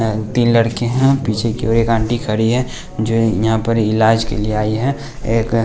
तीन लड़के हैं पीछे की और एक आंटी खड़ी हैं जो यहाँ पर इलाज के लिए आई हैं एक --